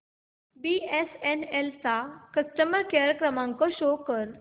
BSNL चा customer care क्रमांक show कर